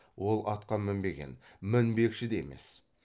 ол атқа мінбеген мінбекші де емес